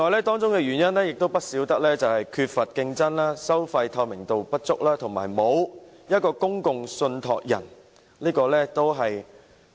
當中的原因包括缺乏競爭、收費透明度不足，以及欠缺公共信託人。